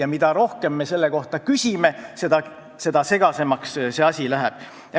Aga mida rohkem me selle kohta küsime, seda segasemaks see asi läheb.